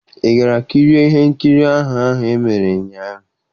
Ị gara kirie ihe nkiri ahụ ahụ e mere ụnyaahụ?